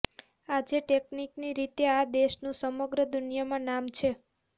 આજે ટેકનિકની રીતે આ દેશનું સમગ્ર દુનિયામાં નામ છે